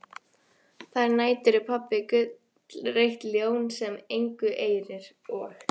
Þær nætur er pabbi gullrautt ljón sem engu eirir og